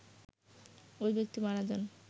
ওই ব্যক্তি মারা যান